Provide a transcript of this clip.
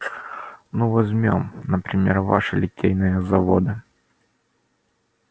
ну возьмём например ваши литейные заводы